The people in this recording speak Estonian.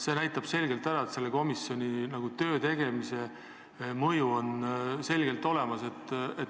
See näitab, et selle komisjoni tööl on mõju selgelt olemas.